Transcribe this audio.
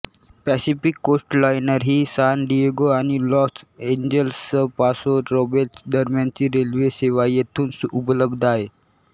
Pacific Coastliner ही San Diego आणि Los एंजेलसपासो रोब्लेस दरम्यानची रेल्वे सेवा येथून उपलब्ध आहे